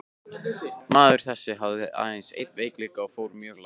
Maður þessi hafði aðeins einn veikleika og fór mjög lágt.